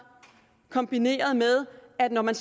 kombineret med at når man